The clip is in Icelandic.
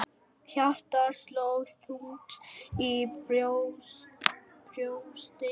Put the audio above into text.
Hjartað sló þungt í brjósti hans.